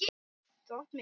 Þú átt mig ekki.